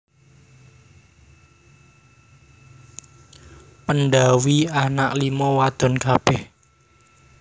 Pendhawi anak lima wadon kabeh